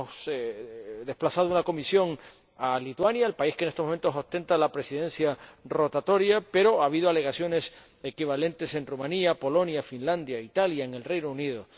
Hemos desplazado una comisión a Lituania, el país que en estos momentos ostenta la presidencia rotatoria, pero ha habido alegaciones equivalentes en Rumanía, Polonia, Finlandia, Italia y Reino Unido.